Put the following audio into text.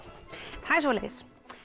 það er svoleiðis